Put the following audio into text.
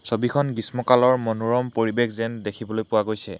ছবিখন গ্ৰীষ্মকালৰ মনোৰম পৰিবেশ যেন দেখিবলৈ পোৱা গৈছে।